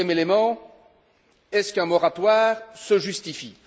Deuxième élément est ce qu'un moratoire se justifie?